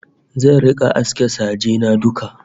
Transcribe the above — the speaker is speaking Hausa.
Zan rika aske saje na duka